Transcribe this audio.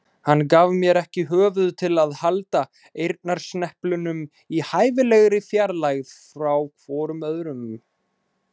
Hann gaf mér ekki höfuð til að halda eyrnasneplunum í hæfilegri fjarlægð hvorum frá öðrum.